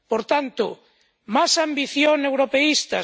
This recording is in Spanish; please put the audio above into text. Por tanto, ¿más ambición europeísta?